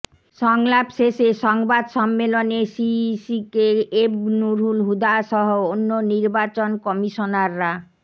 সংলাপ শেষে সংবাদ সম্মেলনে সিইসি কে এম নূরুল হুদাসহ অন্য নির্বাচন কমিশনাররা